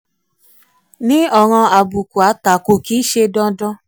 ní ọ̀ràn àbùkù àtakò kì í ṣe dandan.